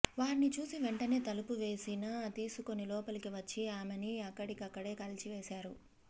వారిని చూసి వెంటనే తలుపు వేసినా తోసుకుని లోపలికి వచ్చి ఆమెని అక్కడికక్కడే కాల్చివేశారు